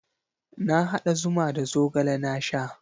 Na haɗa zuma da zogale na sha.